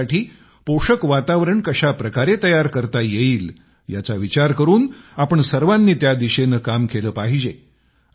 यासाठी पोषक वातावरण कशा प्रकारे तयार करता येईल याचा विचार करून आपण सर्वांनी त्या दिशेने काम केले पाहिजे